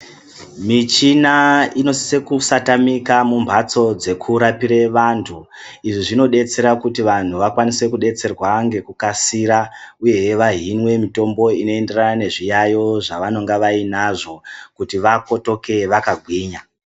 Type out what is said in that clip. Michina inosise kusatamike mumhatso dzekurapire vantu. Izvi zvinodetsera kuti vantu vakwanise kudetserwa ngekukasika uyehe vahinwe mitombo inoenderana nezviyaiyo zvavainonga vainazvo kuti vakotoke vakagwinya.